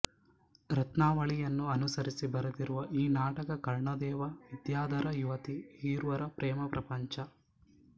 ರತ್ನಾವಳಿಯನ್ನು ಅನುಸರಿಸಿ ಬರೆದಿರುವ ಈ ನಾಟಕಾ ಕರ್ಣದೇವ ವಿದ್ಯಾಧರ ಯುವತಿ ಈರ್ವರ ಪ್ರೇಮ ಪ್ರಪಂಚ